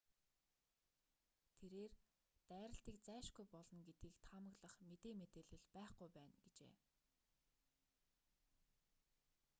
тэрээр дайралтыг зайлшгүй болно гэдгийг таамаглах мэдээ мэдээлэл байхгүй байна гэжээ